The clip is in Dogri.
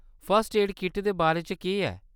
फर्स्ट एड किट दे बारे च केह्‌‌ ऐ ?